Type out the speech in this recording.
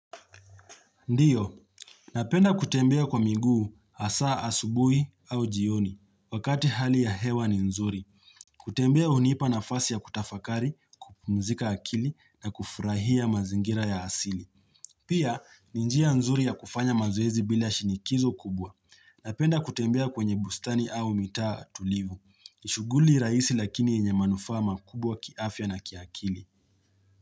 Ndiyo. Napenda kutembea kwa miguu hasa asubuhi au jioni. Wakati hali ya hewa ni nzuri. Kutembea hunipa nafasi ya kutafakari, kupumzika akili na kufurahia mazingira ya asili. Pia, ni njia nzuri ya kufanya mazoezi bila shinikizo kubwa. Napenda kutembea kwenye bustani au mitaa tulivu. Ni shughuli raisi lakini yenye manufaa makubwa kiafya na kiakili.